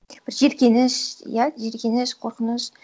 бір жеркеніш иә жеркеніш қорқыныш